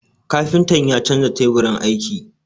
Kafintan ya canza teburin aiki.